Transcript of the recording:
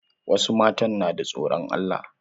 Wasu matan na da tsoron Allah.